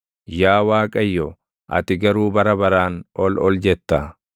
Yaa Waaqayyo, ati garuu bara baraan ol ol jetta.